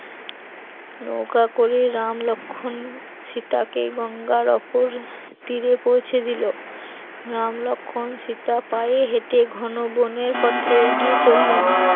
নৌকা করে রাম লক্ষণ সীতাকে গঙ্গার অপর তীরে পৌঁছে দিল, রাম লক্ষণ সীতা পায়ে হেঁটে ঘন বনের পথে এগিয়ে চললেন